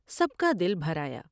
سب کا دل بھر آیا ۔